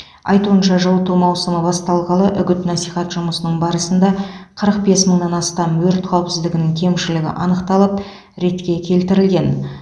айтуынша жылыту маусымы басталғалы үгіт насихат жұмысының барысында қырық бес мыңнан астам өрт қауіпсіздігінің кемшілігі анықталып ретке келтірілген